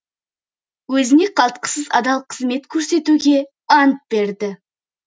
өзіне қалтқысыз адал қызмет көрсетуге ант береді